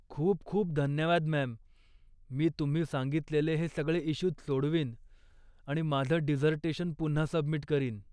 खूप खूप धन्यवाद मॅम, मी तुम्ही सांगितलेले हे सगळे इश्यूज सोडवीन आणि माझं डिसर्टेशन पुन्हा सबमिट करीन.